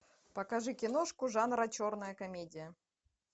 покажи киношку жанра черная комедия